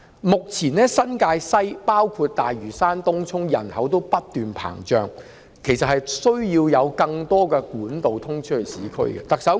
目前新界西，包括大嶼山和東涌的人口均不斷膨脹，其實需要更多通往市區的幹道。